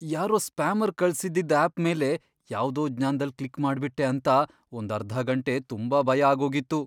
ಯಾರೋ ಸ್ಪ್ಯಾಮರ್ ಕಳ್ಸಿದ್ದಿದ್ ಆಪ್ ಮೇಲೆ ಯಾವ್ದೋ ಜ್ಞಾನ್ದಲ್ಲ್ ಕ್ಲಿಕ್ ಮಾಡ್ಬಿಟ್ಟೆ ಅಂತ ಒಂದರ್ಧ ಗಂಟೆ ತುಂಬಾ ಭಯ ಆಗೋಗಿತ್ತು.